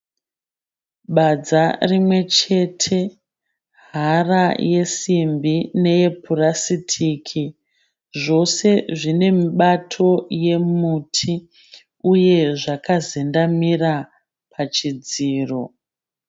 Badza rimwechete. Hara yesimbi neyepurasitiki. Zvose zvine mibato yemuti uye zvakazendamira pachidziro.